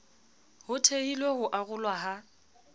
ho thehilwe ho arolwa ha